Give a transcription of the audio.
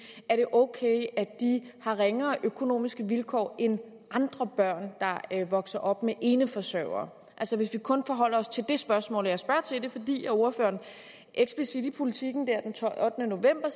er det ok at de har ringere økonomiske vilkår end andre børn der vokser op med eneforsørgere altså hvis vi kun forholder os til det spørgsmål og jeg spørger til det fordi ordføreren eksplicit i politiken den ottende november